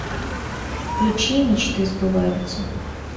включи мечты сбываются